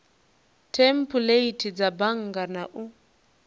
thempuleithi dza bannga na u